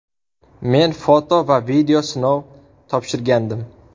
Men foto va video sinov topshirgandim.